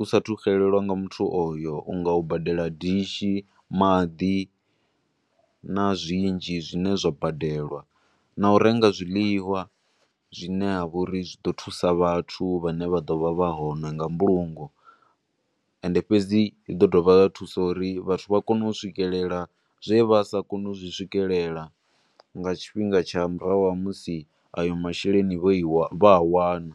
u sa thu xelelwa nga muthu oyo unga u badela dishi, maḓi, na zwinzhi zwine zwa badelwa, na urenga zwiḽiwa zwine ha vha uri zwi ḓo thusa vhathu vha ne vha ḓovha vha hone nga mbulungo, ende fhedzi zwi ḓo dovha zwa thusa uri vhathu vha kone u swikelela zwe vha sa koni u zwi swikelela nga tshifhinga tsha murahu ha musi a yo masheleni vho i, vho a wana.